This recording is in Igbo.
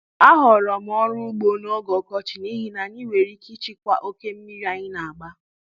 Ahọrọ m ọrụ ugbo n'oge ọkọchị n'ihi na anyị nwere ike ịchịkwa oke mmiri anyị na-agba.